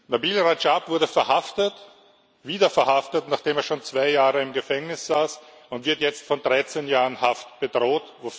Nabeel Rajab wurde wieder verhaftet, nachdem er schon zwei Jahre im Gefängnis saß, und wird jetzt von 13 Jahren Haft bedroht.